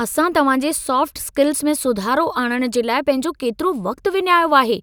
असां तव्हांजे soft skills में सुधारो आणणु जे लाइ पंहिंजो केतिरो वक़्तु विञायो आहे